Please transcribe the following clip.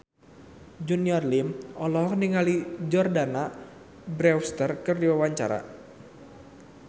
Junior Liem olohok ningali Jordana Brewster keur diwawancara